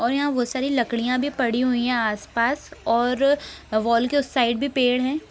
और यहाँ बहुत सारी लकड़ियां भी पड़ी हुई हैं आस-पास और वॉल् के उस साइड भी पेड़ है।